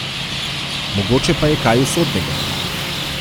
Mogoče pa je kaj usodnega.